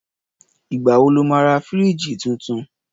Ìgbà wo lo máa ra fírííjì tuntun?